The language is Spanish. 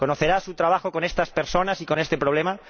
¿Conocerá su trabajo con estas personas y con este problema?